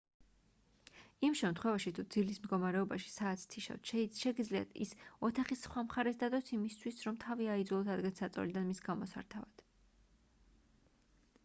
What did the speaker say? იმ შემთხვევაში თუ ძილის მდგომარეობაში საათს თიშავთ შეგიძლიათ ის ოთახის სხვა მხარეს დადოთ იმისთვის რომ თავი აიძულოთ ადგეთ საწოლიდან მის გამოსართავად